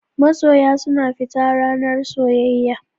Masoya suna fita ranar soyayya.